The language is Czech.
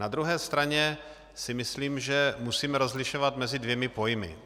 Na druhé straně si myslím, že musíme rozlišovat mezi dvěma pojmy.